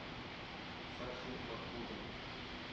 сашей махмудовым